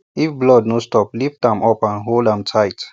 if blood no stop lift am up and hold am tight